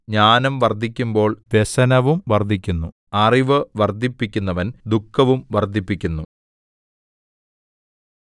ജ്ഞാനം വർദ്ധിക്കുമ്പോൾ വ്യസനവും വർദ്ധിക്കുന്നു അറിവു വർദ്ധിപ്പിക്കുന്നവൻ ദുഃഖവും വർദ്ധിപ്പിക്കുന്നു